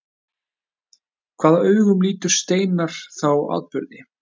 Hvaða augum lítur Steinar þá atburði?